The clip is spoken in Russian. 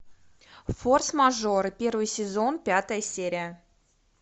форс мажор первый сезон пятая серия